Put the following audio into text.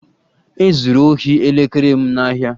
E zuru ohi elekere m n'ahịa